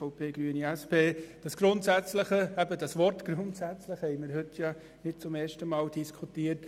EVP/ Grüne/SP-JUSO-PSA: Das Wort «grundsätzlich» haben wir heute nicht zum ersten Mal diskutiert.